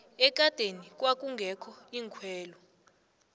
ekadeni kwakungekho iinkhwelo